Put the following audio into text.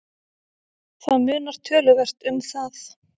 Það munar töluvert um það.